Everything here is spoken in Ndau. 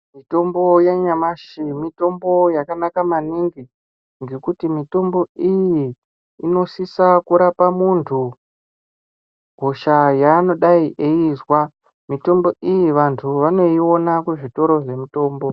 Mitombo yanyamashi mitombo yakanaka maningi ngekuti mitombo iyi inosisa kurapa muntu hosha yanodai eizwa. Mitombo iyi vantu vanoiona kuzvitoro zvemitombo.